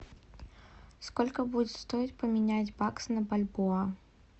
сколько будет стоить поменять бакс на бальбоа